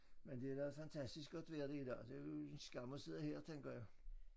Men det da fantastisk godt vejr det i dag det jo en skam at sidde her tænker jeg